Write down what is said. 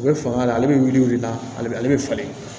U bɛ fanga la ale bɛ wuli ale bɛ ale bɛ falen